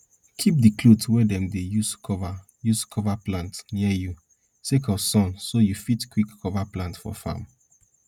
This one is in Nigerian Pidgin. kip di cloth wey dem dey use cover use cover plant near you sake of sun so you fit quick cover plant for farm